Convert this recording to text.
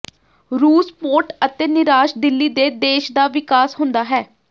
ਰੂਸ ਪੋਰਟ ਅਤੇ ਨਿਰਾਸ਼ ਦਿਲੀ ਦੇ ਦੇਸ਼ ਦਾ ਵਿਕਾਸ ਹੁੰਦਾ ਹੈ